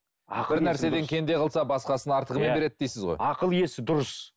бір нәрседен кенде қылса басқасын артығымен береді дейсіз ғой ақыл есі дұрыс